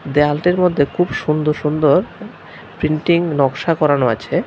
দেয়ালটির মধ্যে খুব সুন্দর সুন্দর প্রিন্টিং নকশা করানো আছে।